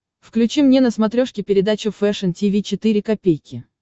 включи мне на смотрешке передачу фэшн ти ви четыре ка